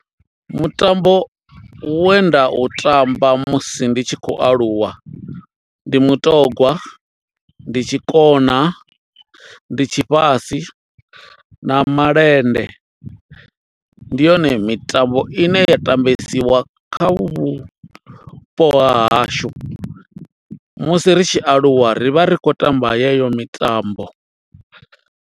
Mutambo we nda u tamba, musi ndi tshi khou aluwa, ndi mutogwa, ndi tshikona, ndi tshi fhasi, na malende. Ndi yone mitambo ine ya tambesiwa kha vhupo ha hashu, musi ri tshi aluwa ri vha, ri khou tamba yeyo mitambo.